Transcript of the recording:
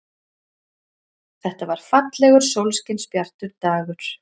Þetta var fallegur, sólskinsbjartur dagur.